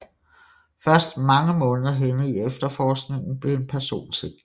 Først mange måneder henne i efterforskningen blev en person sigtet